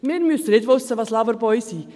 Wir müssen nicht wissen, was Loverboys sind.